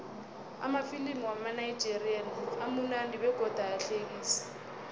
amafilimu wamanigerian amunandi begodu ayahlekisa